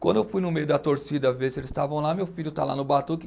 Quando eu fui no meio da torcida ver se eles estavam lá, meu filho está lá no batuque.